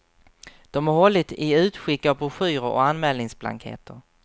De har hållit i utskick av broschyrer och anmälningsblanketter.